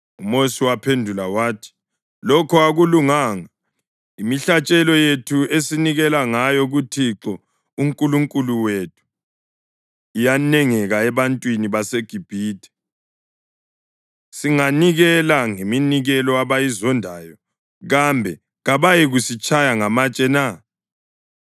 UMosi waphendula wathi, “Lokho akulunganga. Imihlatshelo yethu esinikela ngayo kuThixo uNkulunkulu wethu iyanengeka ebantwini beGibhithe. Singanikela ngeminikelo abayizondayo kambe kabayikusitshaya ngamatshe na?